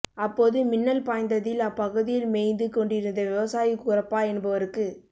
அப்போது மின்னல் பாய்ந்ததில் அப்பகுதியில் மேய்ந்து கொண்டிருந்த விவசாயி குரப்பா என்பவருக்குச்